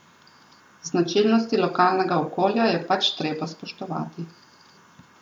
Značilnosti lokalnega okolja je pač treba spoštovati.